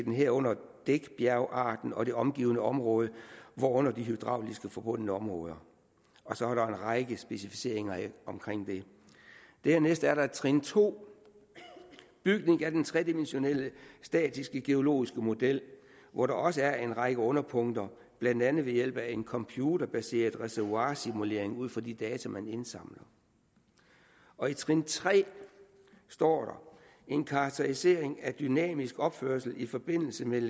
herunder dækbjergarten og det omgivende område herunder de hydraulisk forbundne områder og så er der en række specificeringer af det dernæst er der trin 2 bygning af den tredimensionelle statiske geologiske model hvor der også er en række underpunkter blandt andet ved hjælp af en computerbaseret reservoirsimulering ud fra de data man indsamler og i trin tre står der en karakterisering af dynamisk opførelse i forbindelse med